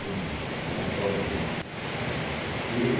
Eu li a história dele todinha.